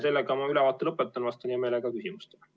Sellega ma oma ülevaate lõpetan ja vastan hea meelega küsimustele.